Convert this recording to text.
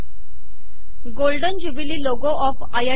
golden jubilee logo of IIT